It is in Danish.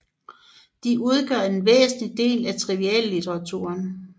De udgør en væsentlig del af triviallitteraturen